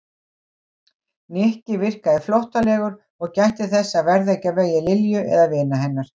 Nikki virkaði flóttalegur og gætti þess að verða ekki á vegi Lilju eða vina hennar.